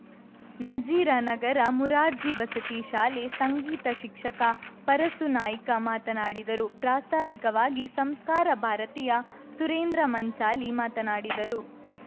ನಜೀರ ನಗರ ಮುರಾರ್ಜಿ ವಸತಿ ಶಾಲೆ ಸಂಗೀತ ಶಿಕ್ಷಕ ಪರಸುನಾಯ್ಕ ಮಾತನಾಡಿದರು ಪ್ರಾಸ್ತಾವಿಕವಾಗಿ ಸಂಸ್ಕಾರ ಭಾರತೀಯ ಸುರೇಂದ್ರ ಮಂಚಾಲಿ ಮಾತನಾಡಿದರು